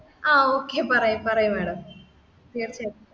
ആ okay പറയൂ പറയൂ madam തീർച്ചയായിട്ടും